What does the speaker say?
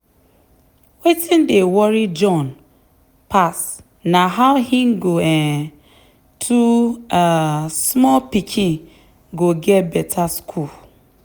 wetin dey worry john pass na how him um two um small pikin go get better school.